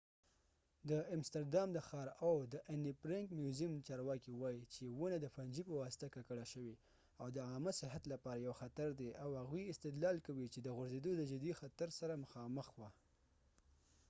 د امستردام د ښار او د anne frank meuseum چارواکي وایي چې ونه د فنجی پواسطه ککړه شوې او د عامه صحت لپاره یو خطر دی او هغوۍ استدلال کوي چې د غورځیدو د جدي خطر سره مخامخ وه